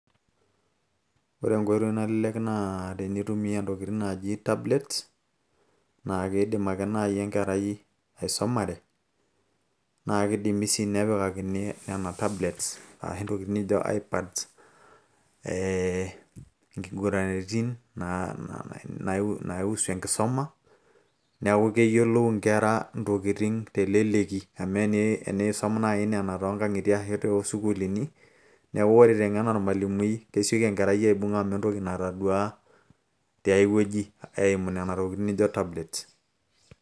ore enkoitoi nalelek naa tenitumia ntokitin naaji tablets naa kiidim ake naaji enkerai aisumare naa kidimi sii nepikakini nena tablets ashu ntokitin nijo i-pads ee nkiguraritin naa naiusu enkisuma neeku keyiolou inkera ntokitin teleleki amu eniisum naaji nena toonkang'itie ashu toosukuuluni neeku ore iteng'en ormalimui kesioki enkerai aibung amu entoki natadua tiay wueji eimu nena tokitin nijo tablets.